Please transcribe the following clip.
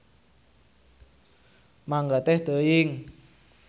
Mangga teh teuing.